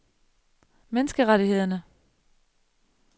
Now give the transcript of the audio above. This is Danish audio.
menneskerettighederne